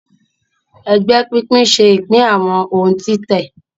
Ègbé pínpín ṣe ipin àwọn òun títè.